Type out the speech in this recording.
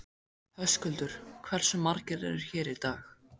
Höskuldur: Hversu margir eru hér í dag?